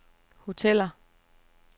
hoteller